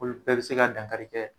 Olu bɛɛ bi se ka dankari kɛ